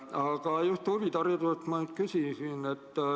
Aga just huvihariduse kohta ma küsingi.